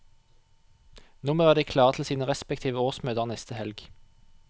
Nå må de være klare til sine respektive årsmøter neste helg.